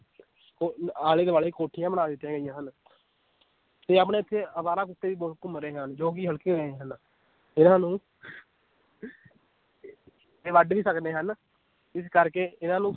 ਆਲੇ ਦੁਆਲੇ ਕੋਠੀਆਂ ਬਣਾ ਦਿੱਤੀਆਂ ਗਈਆਂ ਹਨ ਤੇ ਆਪਣੇ ਇੱਥੇ ਆਵਾਰਾ ਕੁੱਤੇ ਵੀ ਬਹੁਤ ਘੁੰਮ ਰਹੇ ਹਨ, ਜੋ ਕਿ ਹਲਕੇ ਹੋਏ ਹਨ, ਇਹਨਾਂ ਨੂੰ ਇਹ ਵੱਢ ਵੀ ਸਕਦੇ ਹਨ, ਇਸ ਕਰਕੇ ਇਹਨਾਂ ਨੂੰ